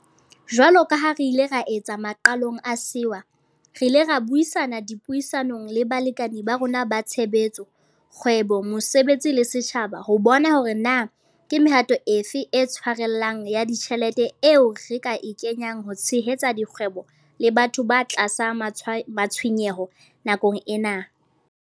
Jwalo ka ha re ile ra etsa maqalong a sewa, re ile ra buisana dipuisanong le balekane ba rona ba tshebetso, kgwebo, mosebetsi le setjhaba ho bona hore na ke mehato e fe e tshwarellang ya ditjhelete eo re ka e kenyang ho tshehetsa dikgwebo le batho ba tlasa matshwenyeho nakong ena.